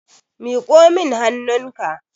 miƙo min hannunka!